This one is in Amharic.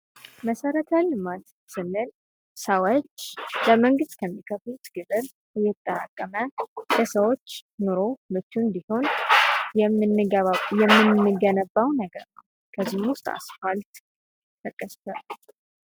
መሰረተ ልማት ስንል ሰዎች ለመንግስት ከሚከፍሉት ግብር እየተጠራቀመ ለሰዎች ኑሮ ምቹ እንዲሆን የምንገነባው ነገር ነው። ከነዚህም ውስጥ አስፓልት ሊጠቀስ ይችላል።